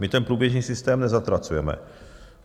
My ten průběžný systém nezatracujeme.